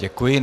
Děkuji.